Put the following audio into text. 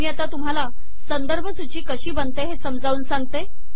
मी आता तुम्हाला संदर्भ सूची कशी बनते हे समजावून सांगते